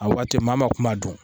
A waati maa ma kuma dun